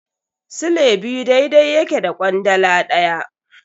Sile biyu daidai yake da kwandala daya.